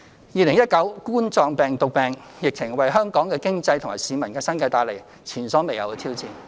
2019冠狀病毒病疫情為香港的經濟和市民的生計帶來前所未有的挑戰。